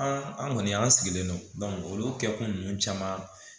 An kɔni an sigilen don olu kɛkun ninnu caman